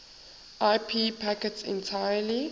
ip packets entirely